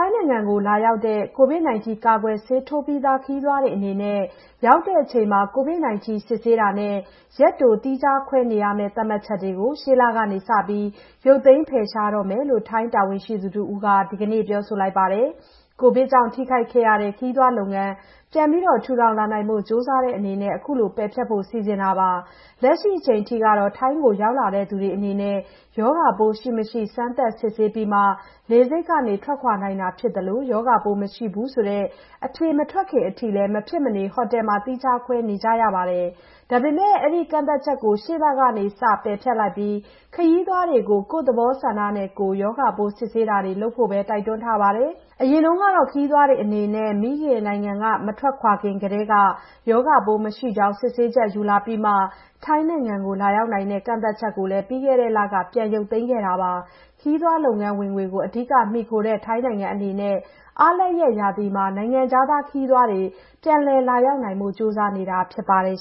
ိုင်ငံကိုလာရောက်တဲ့ COVID-19 ကာကွယ်ဆေးထိုးပြီးသား ခရီးသွားတွေအနေနဲ့ ရောက်တဲ့အချိန်မှာ COVID-19 စစ်ဆေးတာနဲ့ ရက်တို သီးခြားခွဲနေရမယ့် သတ်မှတ်ချက်တွေကို ရှေ့လကစပြီး ရုပ်သိမ်း ဖယ်ရှားတော့မယ်လို့ ထိုင်းတာဝန်ရှိသူတဦးက ဒီကနေ့ပြောပါတယ်။ ကပ်ဘေးကြောင့် ထိခိုက်ခဲ့ရတဲ့ ခရီးသွားလုပ်ငန်း ပြန်ပြီး ထူထောင်လာဖို့ ကြိုးစားတဲ့အနေနဲ့ အခုလို ပယ်ဖျက်ဖို့ စီစဉ်တာပါ။ လက်ရှိအချိန်အထိကတော့ ထိုင်းကိုရောက်လာသူတွေအနေနဲ့ ရောဂါပိုး ရှိမရှိ စမ်းသပ် စစ်ဆေးပြီးမှ လေဆိပ်က ထွက်ခွာနိုင်တာ ဖြစ်သလို ရောဂါပိုးမရှိဘူးဆိုတဲ့ အဖြေမထွက်ခင်အထိလည်း မဖြစ်မနေ ဟိုတယ်မှာ သီးခြားခွဲနေရပါတယ်။ ဒါပေမယ့် အဲဒီကန့်သတ်ချက်ကိုလည်း ရှေ့လကစ ပယ်ဖျက်လိုက်ပြီး ခရီးသွားတွေကို ကိုယ့်သဘောဆန္ဒနဲ့ကိုယ် ရောဂါပိုး စစ်ဆေးတာတွေလုပ်ဖို့ပဲ တိုက်တွန်းထားပါတယ်။ အရင်တုန်းကတော့ ခရီးသွားတွေအနေနဲ့ မိခင်နိုင်ငံက မထွက်ခွာခင်ကတည်းက ရောဂါပိုးမရှိကြောင်း စစ်ဆေးချက် ယူလာပြီးမှ ထိုင်းနိုင်ငံကို လာရောက်နိုင်တဲ့ ကန့်သတ်ချက်ကိုလည်း ပြီးခဲ့တဲ့လက ပြန်ရုပ်သိမ်းခဲ့တာပါ။ ခရီးသွားလုပ်ငန်း ဝင်ငွေကို အဓိက မှီခိုတဲ့ ထိုင်းနိုင်ငံအနေနဲ့ အားလပ်ရက်ရာသီမှာ နိုင်ငံခြားသား ခရီးသွားတွေ ပြန်လည် လာရောက်နိုင်အောင် ကြိုးစားနေတာဖြစ်ပါ တယ်